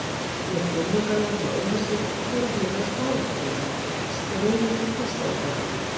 Lét vinnugallann þó eiga sig og fór að huga að sparifötunum, straujuðum á stólbaki.